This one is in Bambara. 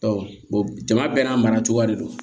jama bɛɛ n'a mara cogoya de don